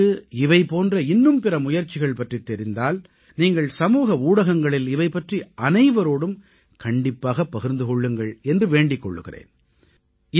உங்களுக்கு இவை போன்ற இன்னும் பிற முயற்சிகள் பற்றித் தெரிந்தால் நீங்கள் சமூக ஊடகங்களில் இவை பற்றி அனைவரோடும் கண்டிப்பாகப் பகிர்ந்து கொள்ளுங்கள் என்று வேண்டிக் கொள்கிறேன்